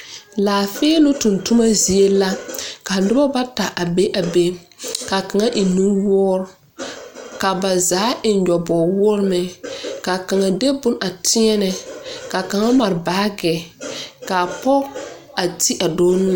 Laafiilung tungtuma zie la ka nuba bata a bɛ a bɛ kaa kanga eng nuwuuri ka ba zaa eng nyubowuori meng ka kanga de bon a teɛne ka kanga mari baagi kaa poɔ a te a doɔ nu.